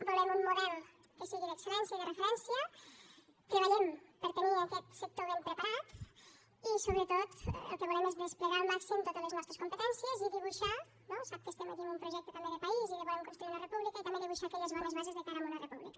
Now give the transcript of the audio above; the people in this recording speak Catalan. volem un model que sigui d’excel·lència i de referència treballem per tenir aquest sector ben preparat i sobretot el que volem és desplegar al màxim totes les nostres competències i dibuixar no sap que estem aquí amb un projecte també de país i que volem construir una república aquelles bones bases de cara a una república